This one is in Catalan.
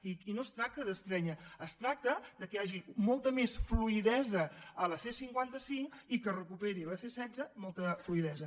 i no es tracta d’estrènyer es tracta que hi hagi molta més fluïdesa a la c cinquanta cinc i que recuperi la c setze molta fluïdesa